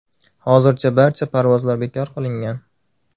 Hozircha barcha parvozlar bekor qilingan.